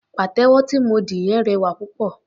Pàtẹ́wọ́ tí mo dì yẹn rẹwà púpọ̀.